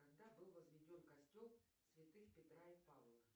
когда был возведен костел святых петра и павла